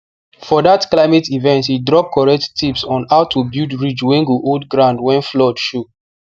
for that climate event he drop correct tips on how to build ridge wey go hold ground when flood show